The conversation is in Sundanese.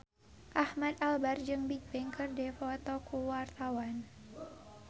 Ahmad Albar jeung Bigbang keur dipoto ku wartawan